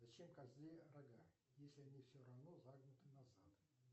зачем козе рога если они все равно загнуты назад